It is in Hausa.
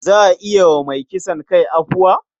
Za a iya yi wa mai kisan kai afuwa?